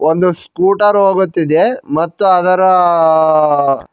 ಒಂದು ಸ್ಕುಟರ್ ಹೋಗುತ್ತಿದೆ ಮತ್ತು ಅದರ--